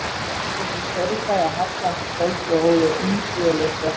Þeir komu í Saurbæ að hallandi kvöldi og hófu umsvifalaust verkið.